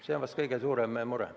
See on vist kõige suurem mure.